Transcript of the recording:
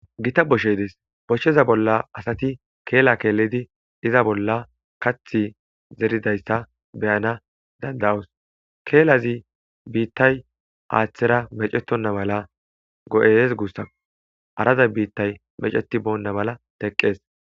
gita boshshedes boshsheza bolla asati keela keelidi iza bolla kath zeridayssa beyana danda7os keelazi biittay aaththera mecetonna mala go7ees guussako arada biittay meceti boonna mala teqqees